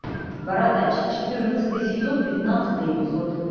бородач четырнадцатый сезон пятнадцатый эпизод